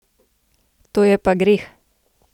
To je pa greh!